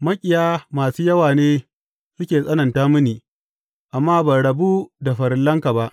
Maƙiya masu yawa ne suke tsananta mini, amma ban rabu da farillanka ba.